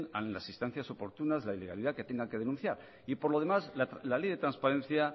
a las instancias oportunas la ilegalidad que tengan que denunciar y por lo demás la ley de transparencia